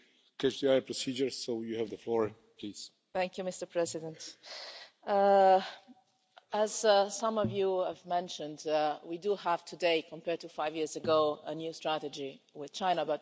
Mr President, as some of you have mentioned, we have today, compared to five years ago, a new strategy with China, but most importantly, we have a new kind of relationship with China.